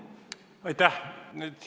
Aitäh!